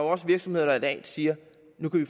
også virksomheder der i dag siger nu kan vi